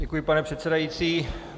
Děkuji, pane předsedající.